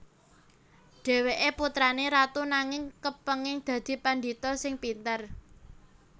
Dhèwèké putrané ratu nanging kepéngin dadi pandhita sing pinter